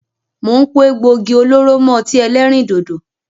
Mo ń pò egbògi olóró mọ ọtí ẹlẹ́rìndòdò